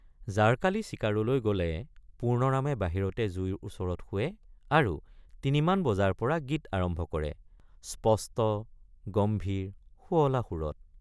জাৰকালি চিকাৰলৈ গলে পূৰ্ণৰামে বাহিৰতে জুইৰ ওচৰত শোৱে আৰু তিনিমান বজাৰপৰা গীত আৰম্ভ কৰে—স্পষ্ট গম্ভীৰ সুৱলা সুৰত।